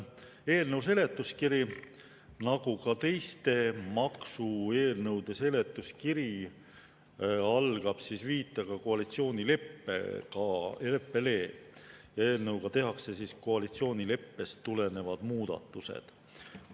Eelnõu seletuskiri nagu ka teiste maksueelnõude seletuskiri algab viitega koalitsioonileppele, et eelnõuga tehakse koalitsioonileppest tulenevad muudatused.